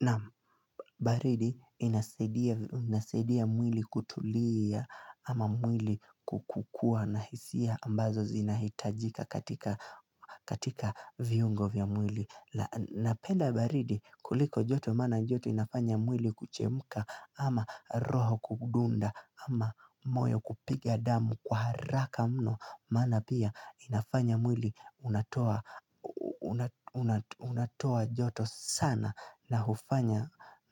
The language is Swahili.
Nam baridi inasaidia mwili kutulia ama mwili kukukua na hisia ambazo zinahitajika katika viungo vya mwili Napenda baridi kuliko joto mana joto inafanya mwili kuchemuka ama roho kudunda ama moyo kupiga damu kwa haraka mno Mana pia inafanya mwili unatoa joto sana na